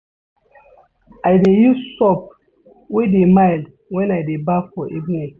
I dey use soap wey dey mild wen I dey baff for evening.